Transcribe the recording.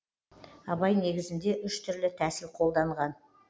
абай негізінде үш түрлі тәсіл қолданған